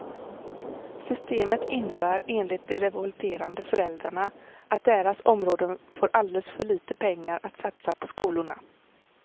Systemet innebär enligt de revolterande föräldrarna att deras områden får alldeles för lite pengar att satsa på skolorna.